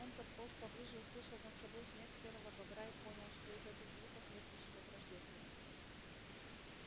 он подполз поближе услышал над собой смех серого бобра и понял что и в этих звуках нет ничего враждебного